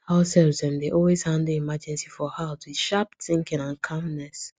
househelps dem dey always handle emergency for house with sharp thinking and calmness